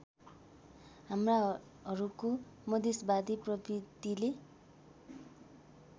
हाम्राहरूको मधेशवादी प्रवृत्तिले